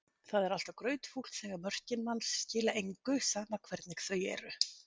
Það er alltaf grautfúlt þegar mörkin manns skila engu, sama hvernig þau eru.